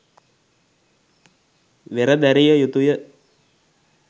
වෙර දැරිය යුතුය